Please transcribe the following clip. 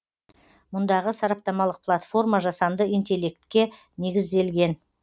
мұндағы сараптамалық платформа жасанды интеллектке негізделген